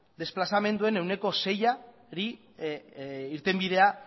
desplazamenduen ehuneko seiari irtenbidea